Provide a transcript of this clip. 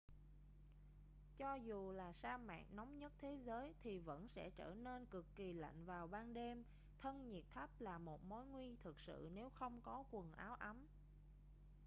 cho dù là sa mạc nóng nhất thế giới thì vẫn sẽ trở nên cực kì lạnh vào ban đêm thân nhiệt thấp là một mối nguy thực sự nếu không có quần áo ấm